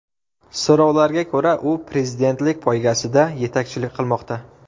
So‘rovlarga ko‘ra, u prezidentlik poygasida yetakchilik qilmoqda.